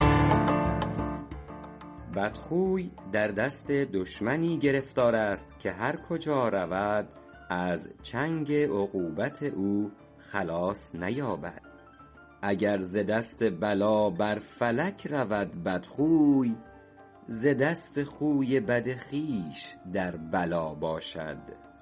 بدخوی در دست دشمنی گرفتار است که هر کجا رود از چنگ عقوبت او خلاص نیابد اگر ز دست بلا بر فلک رود بدخوی ز دست خوی بد خویش در بلا باشد